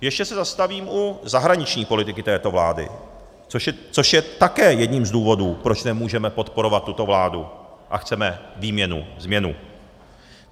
Ještě se zastavím u zahraniční politiky této vlády, což je také jedním z důvodů, proč nemůžeme podporovat tuto vládu a chceme výměnu, změnu.